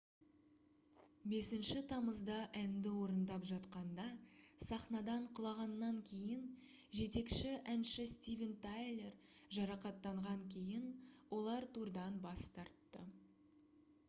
5 тамызда әнді орындап жатқанда сахнадан құлағаннан кейін жетекші әнші стивен тайлер жарақаттанған кейін олар турдан бас тартты